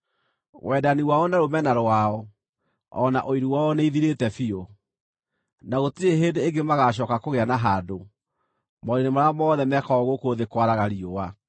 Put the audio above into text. Wendani wao, na rũmena rwao, o na ũiru wao nĩithirĩte biũ; na gũtirĩ hĩndĩ ĩngĩ magaacooka kũgĩa na handũ maũndũ-inĩ marĩa mothe mekagwo gũkũ thĩ kwaraga riũa.